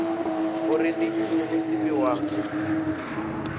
uri ndi nnyi mudivhi wa